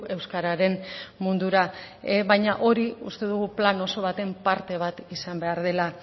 euskararen mundura baina hori uste dugu plan oso baten parte bat izan behar dela